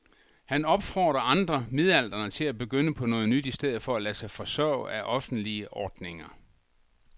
Han opfordrer andre midaldrende til at begynde på noget nyt i stedet for at lade sig forsørge af offentlige ordninger.